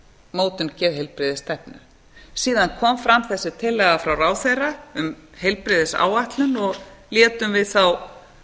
mótun geðheilbrigðisstefnu síðan kom fram þessi tillaga frá ráðherra um heilbrigðisáætlun og létum við þá